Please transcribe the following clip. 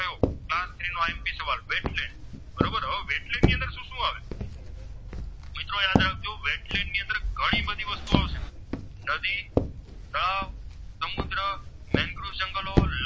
સુ આવશે નદી તળાવ સમુદ્ર Mentris જંગલો